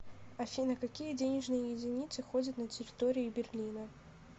афина какие денежные единицы ходят на территории берлина